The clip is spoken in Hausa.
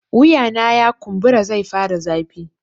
Wuyana ya kumbura zai fara zafi